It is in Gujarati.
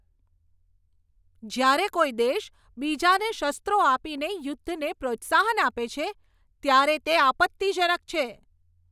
જ્યારે કોઈ દેશ બીજાને શસ્ત્રો આપીને યુદ્ધને પ્રોત્સાહન આપે છે, ત્યારે તે આપત્તિજનક છે.